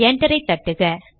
enter செய்க